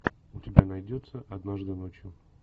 у тебя найдется однажды ночью